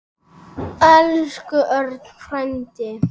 Elsku Örn frændi.